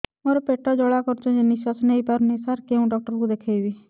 ମୋର ପେଟ ଜ୍ୱାଳା କରୁଛି ନିଶ୍ୱାସ ନେଇ ପାରୁନାହିଁ ସାର କେଉଁ ଡକ୍ଟର କୁ ଦେଖାଇବି